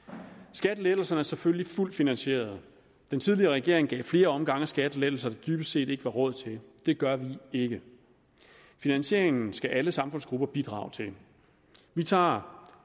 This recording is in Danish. skattelettelserne er selvfølgelig fuldt finansierede den tidligere regering gav i flere omgange skattelettelser der dybest set ikke var råd til det gør vi ikke finansieringen skal alle samfundsgrupper bidrage til vi tager